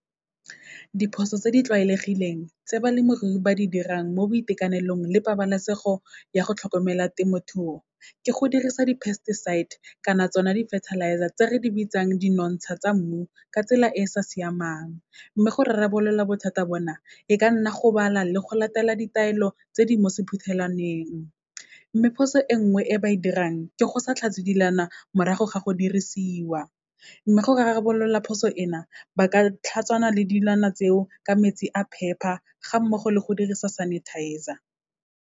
Diphoso tse di tlwaelegileng tse balemirui ba di dirang mo boitekanelong le pabalesego ya go tlhokomela temothuo, ke go dirisa di-pesticides kana tsona di-fertilizer, tse re di bitsang di nonotsha tsa mmu, ka tsela e e sa siamang. Mme go rarabolola bothata bona, e ka nna go bala le go latela ditaelo tse di mo sephuthelwaneng. Mme phoso e nngwe e ba e dirang, ke go sa tlhatswe dilwana morago ga go dirisiwa, mme go rarabolola phoso ena, ba ka tlhatswana le dilwana tseo ka metsi a phepa, ga mmogo le go dirisa sanitizer.